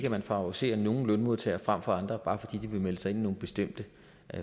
at man favoriserer nogle lønmodtagere frem for andre bare fordi de vil melde sig ind i nogle bestemte